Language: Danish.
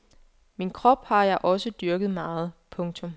Min krop har jeg også dyrket meget. punktum